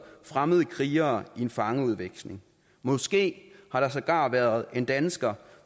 fremmede krigere i en fangeudveksling måske har der sågar været en dansker